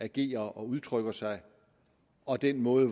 agerer og udtrykker sig og den måde